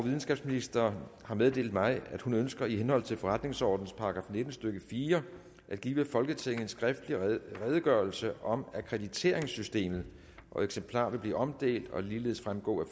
videnskabsministeren har meddelt mig at hun ønsker i henhold til forretningsordenens § nitten stykke fire at give folketinget en skriftlig redegørelse om akkrediteringssystemet eksemplarer vil blive omdelt og ligeledes fremgå af